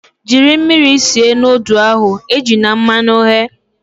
Jiri mmiri sie nudụ ahu, ejina mmanụ ghe!